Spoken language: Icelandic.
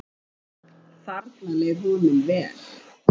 Þarna leið honum vel.